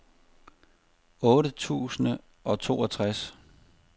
otte tusind og toogtres